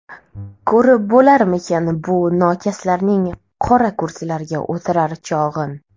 Ko‘rib bo‘larmikan bu nokaslarning qora kursilarga o‘tirar chog‘in?